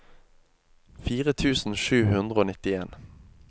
fire tusen sju hundre og nittien